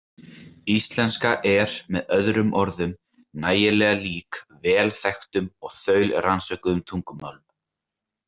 Íslenska er með öðrum orðum nægilega lík vel þekktum og þaulrannsökuðum tungumálum.